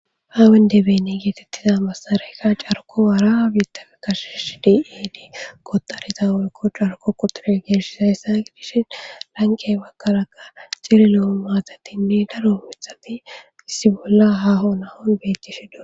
Haa wendebeni geetettiza massarayka carko waara biittaka kashesh diedii kotariza oykko carko qoture geeshis hayssa gidishin lanqe bakaraga cirilo7o maazatinni daro mithati issi bolla haho nahon bettishi do